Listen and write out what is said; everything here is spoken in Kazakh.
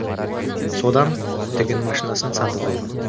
содан тігін машинасын сатып алған